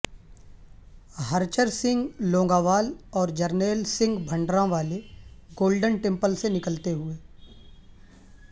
Harchand Singh Longowal اور Jarnail Singh Bhindranwale Golden Temple سے نکلتے ہوئے